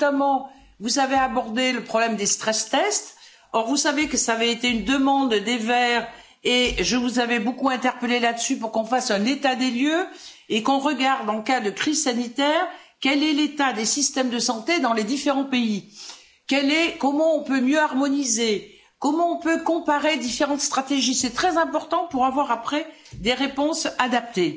Vous avez notamment abordé le problème des stress tests, or vous savez que cela avait été une demande des Verts et je vous avais beaucoup interpellée sur ce sujet pour que nous fassions un état des lieux et que nous regardions, en cas de crise sanitaire, quel est l'état des systèmes de santé dans les différents pays, comment nous pouvons mieux harmoniser, comment nous pouvons comparer différentes stratégies, c'est très important pour avoir ensuite des réponses adaptées.